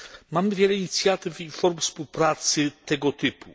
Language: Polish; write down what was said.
Mamy wiele inicjatyw i form współpracy tego typu.